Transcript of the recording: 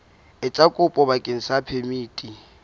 etsa kopo bakeng sa phemiti